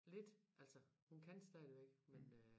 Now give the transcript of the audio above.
Lidt altså hun stadigvæk men øh